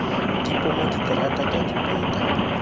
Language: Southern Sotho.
di poma diterata ka dipeta